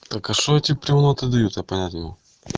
так а что эти примоты дают я понять не могу